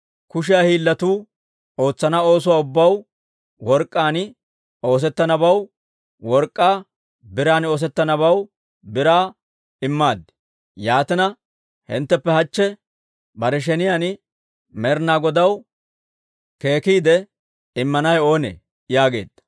Kushiyaa hiillatuu ootsana oosuwaa ubbaw, work'k'aan oosettanabaw work'k'aa, biran oosettanabaw biraa, immaad. Yaatina, hintteppe hachche bare sheniyaan Med'inaa Godaw keekkiidde immanawe oonee?» yaageedda.